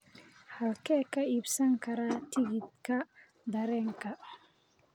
halkee ka iibsan karaa tigidhka tareenka